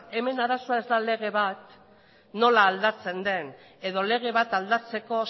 hemen arazoa ez da lege bat nola aldatzen den edo lege bat aldatzeko